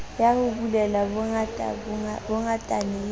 ya ho bulela bongatane le